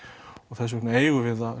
og þess vegna eigum við að